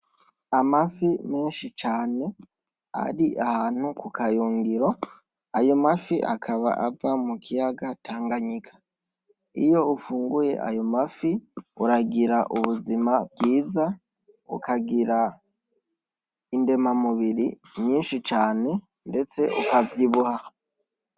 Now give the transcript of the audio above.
Amafi menshi cane, ari ahantu kukayungiro ayomafi akaba ava mukiyaga Tanganyika, iyo ufunguye ayomafi uragira ubuzima bwiza, ukagira indema mubiri nyishi cane ndetse ukavyibuha.